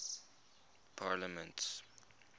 parliaments